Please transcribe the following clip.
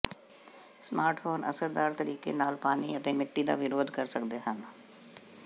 smartphone ਅਸਰਦਾਰ ਤਰੀਕੇ ਨਾਲ ਪਾਣੀ ਅਤੇ ਮਿੱਟੀ ਦਾ ਵਿਰੋਧ ਕਰ ਸਕਦੇ ਹਨ